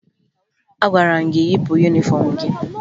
Agwara m gị yipụ yunifọmụ gị!